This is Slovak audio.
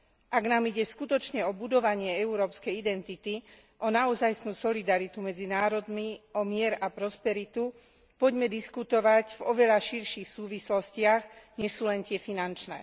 Ak nám ide skutočne o budovanie európskej identity, o naozajstnú solidaritu medzi národmi, o mier a prosperitu, poďme diskutovať v oveľa širších súvislostiach, než sú len tie finančné.